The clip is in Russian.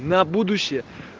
на будущее